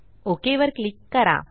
okay वर click करा